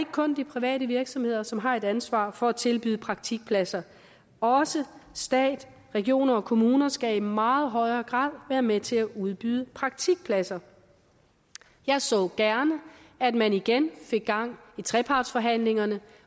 kun de private virksomheder som har et ansvar for at tilbyde praktikpladser også stat regioner og kommuner skal i meget højere grad være med til at udbyde praktikpladser jeg så gerne at man igen fik gang i trepartsforhandlingerne